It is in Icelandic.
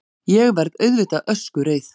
Ég verð auðvitað öskureið.